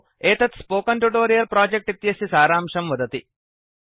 एतत् spoken tutorial project इत्यस्य सारांशं दर्शयति